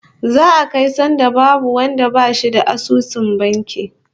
Za'a kai sanda babu wanda bashi da asusun banki